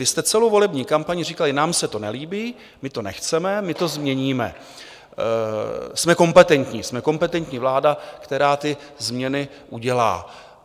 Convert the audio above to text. Vy jste celou volební kampaň říkali: Nám se to nelíbí, my to nechceme, my to změníme, jsme kompetentní, jsme kompetentní vláda, která ty změny udělá.